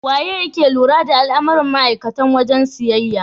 Waye yake lura da al'amuran ma'aikatan wajen siyayya?